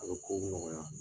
A bi kow nɔgɔya